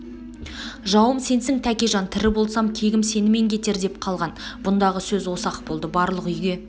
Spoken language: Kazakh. жауым сенсің тәкежан тірі болсам кегім сенімен кетер деп қалған бұндағы сөз осы-ақ болды барлық үйге